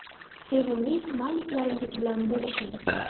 Sevimli smayliklaringiz bilan bo‘lishing.